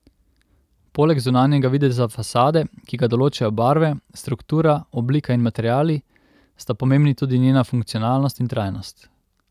Poleg zunanjega videza fasade, ki ga določajo barve, struktura, oblika in materiali, sta pomembni tudi njena funkcionalnost in trajnost.